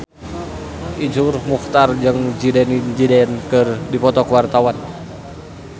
Iszur Muchtar jeung Zidane Zidane keur dipoto ku wartawan